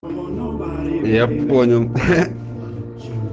я понял